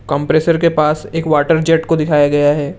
Compressor के पास एक वाटर जेट को दिखाया गया है ।